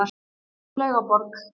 Laugaborg